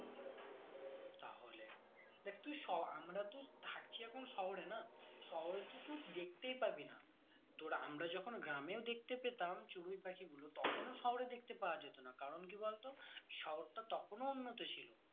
দেখ তুই শ আমরা তুই থাকি এখন শহরে না শহরে তো তুই দেখতেই পাবি না তোর আমরা যখন গ্রামেও দেখতে পেতাম চড়ুই পাখিগুলো তখন ও শহরে দেখতে পাওয়া যেত না কারণ কি বলতো শহরটা তখন ও উন্নত ছিল